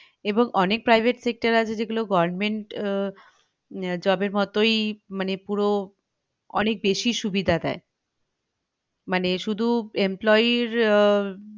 এবং অনেক private sector আছে যেগুলো government আহ job এর মতই মানে পুরো অনেক বেশী সুবিধা দেই মানে শুধু employee র আহ